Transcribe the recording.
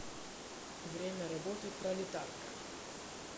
время работы пролетарка